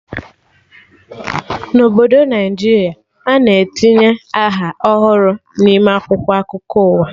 Na Obodo Naijiria, a na-etinye aha ọhụrụ n'ime akwụkwọ akụkọ ụwa